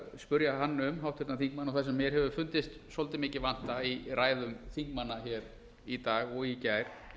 háttvirtan þingmann um og það sem mér hefur fundist svolítið mikið vanta í ræðum þingmanna hér í dag og í gær